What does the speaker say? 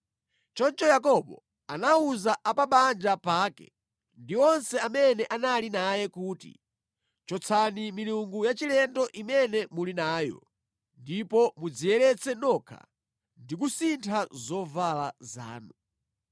Choncho Yakobo anawuza a pa banja pake ndi onse amene anali naye kuti, “Chotsani milungu yachilendo imene muli nayo, ndipo mudziyeretse nokha ndi kusintha zovala zanu.